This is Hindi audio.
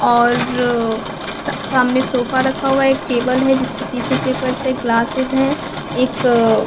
और सब सामने सोफा रखा हुआ है एक टेबल है जिसपे टिशू पेपर्स है ग्लासेस हैं एक अअ--